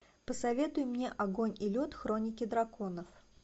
посоветуй мне огонь и лед хроники драконов